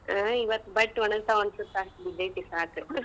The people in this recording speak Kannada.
ಹಾ ಇವತ್ ಬಟ್ಟ್ ಒಣಗ್ತಾವ್ ಅನ್ಸತ್ತ ಅಷ್ಟ್ ಬಿದ್ದೆತಿ ಸಾಕ್.